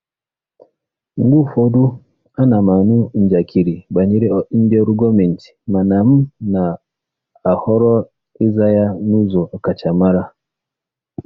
Mgbe ụfọdụ, ana m anụ njakịrị banyere ndị ọrụ gọọmentị mana m na-ahọrọ ịza ya n'ụzọ ọkachamara.